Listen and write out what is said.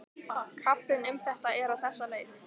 Kaflinn um þetta er á þessa leið